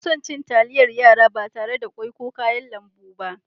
Na so cin talliyar yara ba tarre da ƙwoi ko kayan lambu ba.